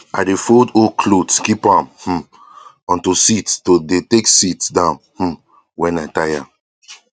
i dey fold old cloth keep am um onto sit to dey take sit down um wen i tire